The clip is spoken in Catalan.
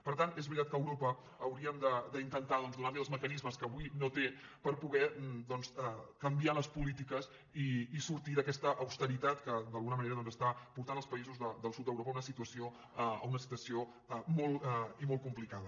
per tant és veritat que a europa hauríem d’intentar donar li els mecanismes que avui no té per poder doncs canviar les polítiques i sortir d’aquesta austeritat que d’alguna manera està portant els països del sud d’europa a una situació molt i molt complicada